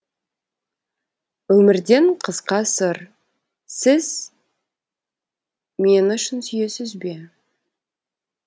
өмірден қысқа сыр сіз мені шын сүйесіз бе